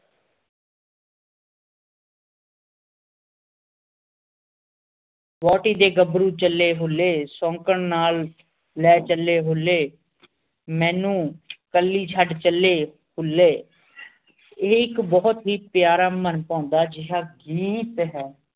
ਵੋਟੀ ਦੇ ਗਬਰੂ ਚੱਲੇ ਹੁੱਲੇ ਸੌਂਕਣ ਨਾਲ ਲੈ ਚੱਲੇ ਹੁੱਲੇ ਮੈਨੂੰ ਕੱਲੀ ਛੱਡ ਚੱਲੇ ਹੁੱਲੇ ਏਕ ਬੁਹਤ ਹੀ ਪਿਆਰਾ ਮਨ ਪਉਂਦਾ ਜਿਯਾ ਗੀਤ ਹੈ।